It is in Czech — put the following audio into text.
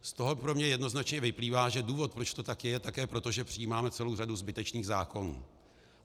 Z toho pro mě jednoznačně vyplývá, že důvod, proč to tak je, je také proto, že přijímáme celou řadu zbytečných zákonů.